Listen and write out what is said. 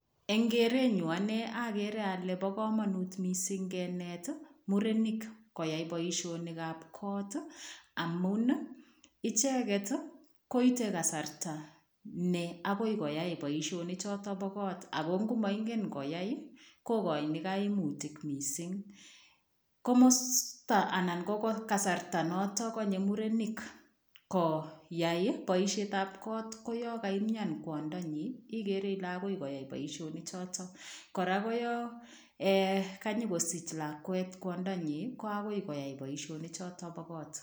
Eng keretnyuun ane agere ale bo kamanut missing keneet murenik koyai boisionik ab koot amuun ii ichegeet kosartaa ne agoi koyai boisionik chotoon bo koot ako ngo mangeen koyai kokainii kaimutiik missing, komostaa anan ko kasarta notoon kanyei murenik koyai boisiet ab koot ko yaan kaimian kwandanyiin igere Ile agoi koyai boisionik chotoon koyaan kaa nyokosich lakwet kwandanyiin ko agoi koyai boisionik chotoon bo koot.